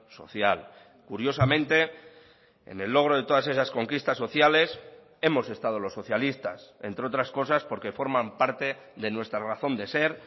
social curiosamente en el logro de todas esas conquistas sociales hemos estado los socialistas entre otras cosas porque forman parte de nuestra razón de ser